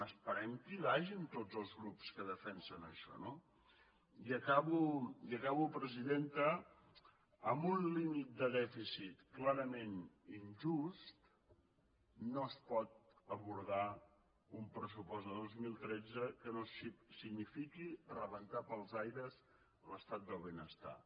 esperem que hi vagin tots els grups que defensen això no i acabo presidenta amb un límit de dèficit clarament injust no es pot abordar un pressupost de dos mil tretze que no signifiqui rebentar pels aires l’estat del benestar